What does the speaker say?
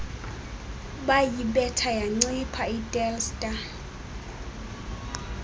bayibetha yancipha itelstar